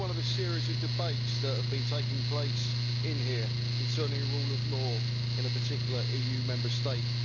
This is one of a series of debates that have been taking place in here concerning the rule of law in a particular EU Member State.